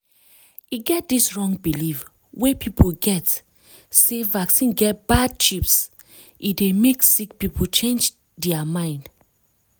e get dis wrong believe wey people get sey vaccine get bad microchips e dey make sick people change dear mind.